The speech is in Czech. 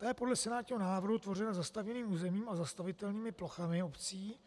To je podle senátního návrhu tvořeno zastavěným územím a zastavitelnými plochami obcí